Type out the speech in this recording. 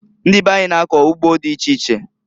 Ndị be anyị na-akọ ugbo dị iche iche.